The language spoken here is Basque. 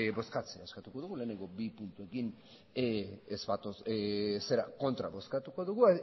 bozkatzea eskatuko dugu lehenengo bi punturekin kontra bozkatuko dugu